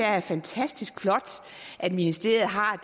er fantastisk flot at ministeriet har